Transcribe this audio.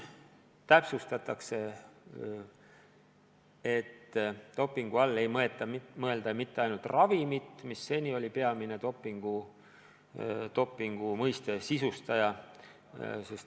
Täpsustatakse, et dopingu all ei mõelda mitte ainult ravimit, mis seni oli peamine dopingu mõiste sisustaja.